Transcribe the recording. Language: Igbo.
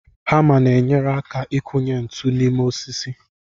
Hama na-enyere aka ịkụnye ntụ n'ime osisi